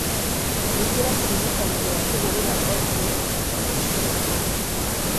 Ĩkĩra kĩririkanio gia kũhũrĩra ondiek rũciũ